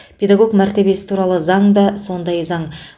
педагог мәртебесі туралы заң да сондай заң